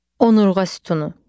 Onurğa sütunu.